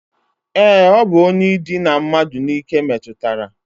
E, o bu onye idina mmadu n'ike metutara.